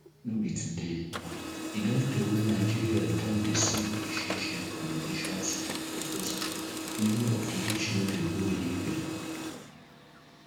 no be today e don tey wey nigeria don dey see orishirishi recommendations and proposal many of which no dey go anywia